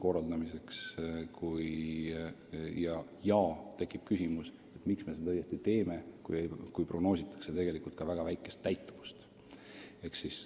Nii tekib küsimus, miks me seda õieti teeme, kui prognoositakse ka väga vähest täitumust.